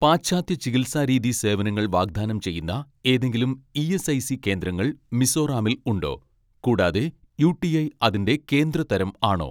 പാശ്ചാത്യ ചികിത്സാരീതി സേവനങ്ങൾ വാഗ്ദാനം ചെയ്യുന്ന ഏതെങ്കിലും ഇ.എസ്.ഐ.സി കേന്ദ്രങ്ങൾ മിസോറാമിൽ ഉണ്ടോ, കൂടാതെ യു.ടി.ഐ അതിന്റെ കേന്ദ്ര തരം ആണോ